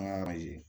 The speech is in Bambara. An ka yen